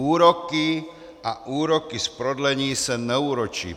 Úroky a úroky z prodlení se neúročí...